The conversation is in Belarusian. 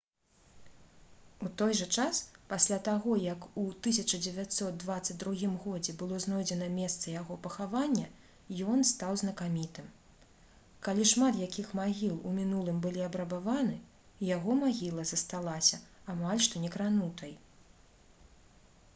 у той жа час пасля таго як у 1922 г было знойдзена месца яго пахавання ён стаў знакамітым калі шмат якіх магіл у мінулым былі абрабаваны яго магіла засталася амаль што некранутай